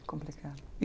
Complicado.